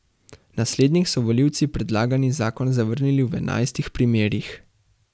Na slednjih so volivci predlagani zakon zavrnili v enajstih primerih.